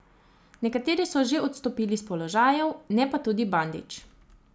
Nekateri so že odstopili s položajev, ne pa tudi Bandić.